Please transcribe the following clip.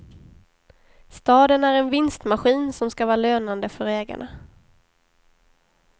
Staden är en vinstmaskin, som skall vara lönande för ägarna.